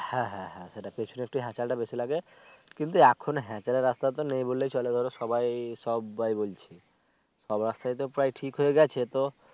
হ্যাঁ হ্যাঁ হ্যাচাল পিছনের একটু হ্যাচাল বেশি লাগে কিন্তু এখন হ্যাচাল এর রাস্তা নেই বললেই চলে ধরো সবাই সববাই বলছে সব সাথে রাস্তাই প্রায় ঠিক হয়ে গেছে তো